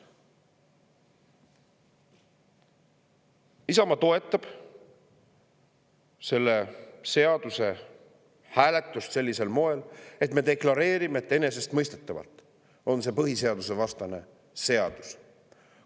Isamaa toetab selle hääletust sellisel moel, et me deklareerime, et enesestmõistetavalt on see põhiseadusvastane seadus.